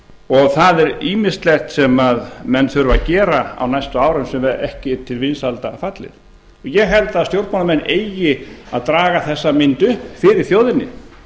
og það er ýmislegt sem menn þurfa að gera á næstu árum sem ekki er til vinsælda fallið ég held að stjórnmálamenn eigi að draga þessa mynd upp fyrir þjóðinni